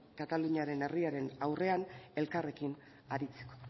kataluniaren herriaren aurrean elkarrekin aritzeko